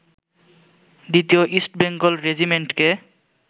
দ্বিতীয় ইস্ট বেঙ্গল রেজিমেন্টকে